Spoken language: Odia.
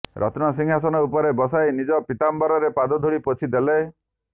ରତ୍ନ ସିଂହାସନ ଉପରେ ବସାଇ ନିଜ ପୀତାମ୍ୱରରେ ପାଦଧୂଳି ପୋଛି ଦେଲେ